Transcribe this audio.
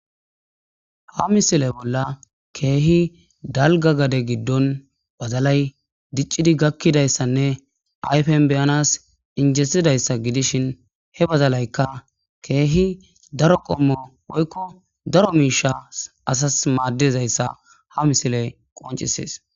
Ha misile bolla keehi dalgga gade giddon badalay diccidi gakkidayssane ayfen be'anas injetidayssa gidishin he badalaykka keehi daro qommo woykko daro miishsha asas maadizayssa ha misiley qonccisees.